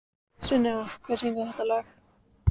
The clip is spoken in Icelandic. Sunneva, hver syngur þetta lag?